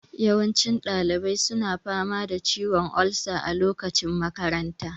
Yawancin ɗalibai suna fama da ciwon olsa a lokacin makanta